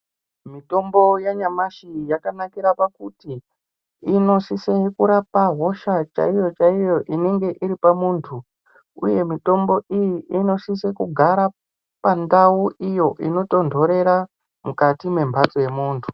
Mitombo yanyamashi yakanakira pakuti inosise kurapa hosha chaiyo-chaiyo inonga iri pamuntu. Uye mitombo iyi inosise kugara pandau iyo inotonhorera mukati memhatso yemuntu.